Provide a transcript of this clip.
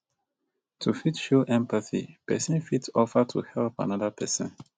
to fit show empathy person fit offer to help anoda person